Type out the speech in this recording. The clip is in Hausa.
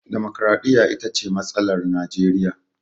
Damakwaraɗiyya ita ce matsalar Najeriya.